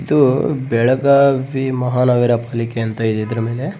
ಇದು ಬೆಳಗಾವಿ ಮಹಾನಗರ ಪಾಲಿಕೆ ಅಂತ ಇದೆ ಇದ್ರ ಮೇಲೆ .